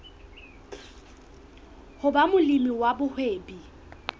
ho ba molemi wa mohwebi